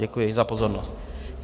Děkuji za pozornost.